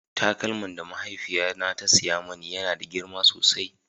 taƙalman da mahaifiƴa na ta siya mani ya na da girma sosai